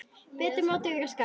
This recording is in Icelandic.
Betur má ef duga skal!